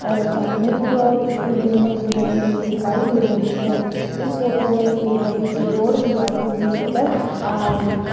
और सामने की और कुछ बिल्डिंगे भी बनी हुई दिखाई दे रही है इस फोटो में एक बड़ी सी रोड भी आती हुई नजर आ रही है।